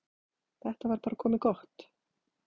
Þetta var bara komið gott.